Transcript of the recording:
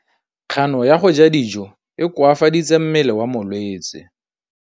Kganô ya go ja dijo e koafaditse mmele wa molwetse.